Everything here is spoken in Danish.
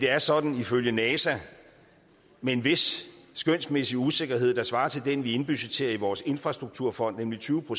er sådan ifølge nasa med en vis skønsmæssig usikkerhed der svarer til den vi indbudgetterer i vores infrastrukturfond nemlig tyve